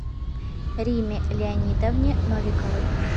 риме леонидовне новиковой